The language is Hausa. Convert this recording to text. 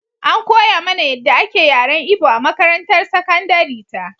An koya mana yadda ake yaren Igbo a makarantar sakandare ta.